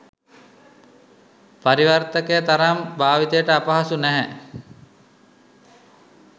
පරිවර්තකය තරම් භාවිතයට අපහසු නැහැ.